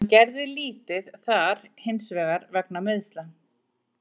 Hann gerði lítið þar hinsvegar vegna meiðsla.